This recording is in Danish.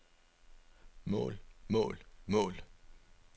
mål mål mål